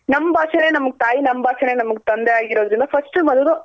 ನಮ್ ಭಾಷೇನೆ ನಮ್ಗ್ ತಾಯಿ ನಮ್ ಭಾಷೇನೆ ನಮ್ಗ್ ತಂದೆ ಆಗಿರೋದ್ರಿಂದ first ಬಂದು